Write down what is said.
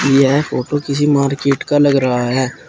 यह फोटो किसी मार्केट का लगा रहा है।